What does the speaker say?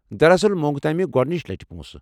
دراصل، مۄنگ تمہِ گۄڑنِچہِ لٹہِ پونٛسہٕ۔